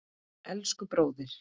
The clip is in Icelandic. Elsku bróðir!